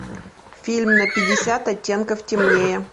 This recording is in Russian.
фильм на пятьдесят оттенков темнее